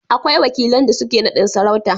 akwai wakilan da suke nadin sarauta